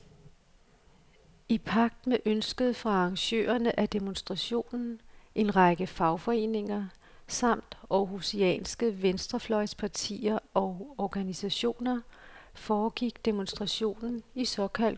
I pagt med ønsket fra arrangørerne af demonstrationen, en række fagforeninger samt århusianske venstrefløjspartier og organisationer, foregik demonstrationen i såkaldt god ro og orden.